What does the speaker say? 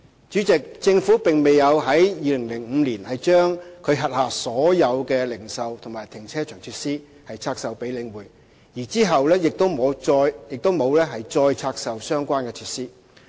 主席，房委會並沒有於2005年把其轄下所有的零售和停車場設施拆售給領匯，其後亦沒有再拆售相關的設施。